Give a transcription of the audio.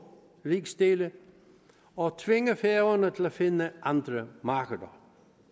rigsdele og tvinge færøerne til at finde andre markeder